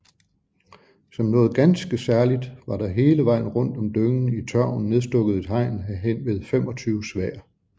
Som noget ganske særligt var der hele vejen rundt om dyngen i tørven nedstukket et hegn af henved 25 sværd